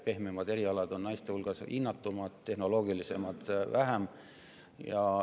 Pehmemad erialad on naiste hulgas rohkem hinnatud, tehnoloogilisemad vähem.